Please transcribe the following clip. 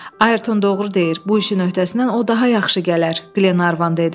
Ayrton doğru deyir, bu işin öhdəsindən o daha yaxşı gələr, Glenarvan dedi.